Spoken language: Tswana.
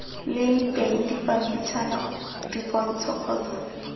leng teng dipampitshana dipontsho kgotsa